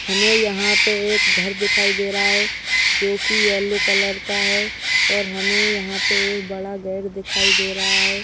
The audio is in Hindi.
हमे यहां पे एक घर दिखाई दे रहा है जोकि येलो कलर का है और हमें यहां पे एक बड़ा गर् दिखाई दे रहा है।